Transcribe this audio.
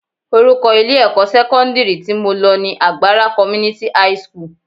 Orúkọ ilé-ẹ̀kọ́ sẹ́kọ́ndírì tí mo lọ ni Agbara Community high school